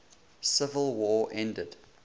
civil war ended